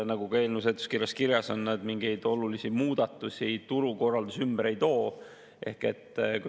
Nagu ka eelnõu seletuskirjas kirjas on, mingeid olulisi muudatusi turul, ümberkorraldusi seal nad kaasa ei too.